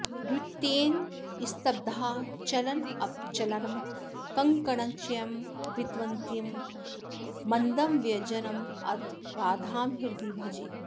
द्वितीयेन स्तब्धाचलनचपलं कङ्कणचयं वितन्वन्तीं मन्दं व्यजनमथ राधां हृदि भजे